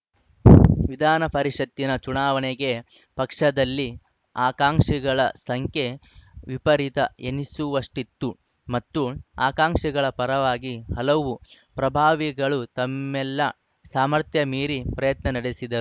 ವಿಧಾನಪರಿಷತ್ತಿನ ಚುನಾವಣೆಗೆ ಪಕ್ಷದಲ್ಲಿ ಆಕಾಂಕ್ಷಿಗಳ ಸಂಖ್ಯೆ ವಿಪರೀತ ಎನಿಸುವಷ್ಟಿತ್ತು ಮತ್ತು ಆಕಾಂಕ್ಷಿಗಳ ಪರವಾಗಿ ಹಲವು ಪ್ರಭಾವಿಗಳು ತಮ್ಮೆಲ್ಲ ಸಾಮರ್ಥ್ಯ ಮೀರಿ ಪ್ರಯತ್ನ ನಡೆಸಿದ್ದರು